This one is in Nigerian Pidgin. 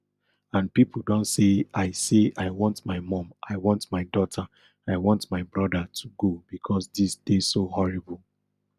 and pipo don say i say i want my mum i want my daughter i want my brother to go becos dis dey so horrible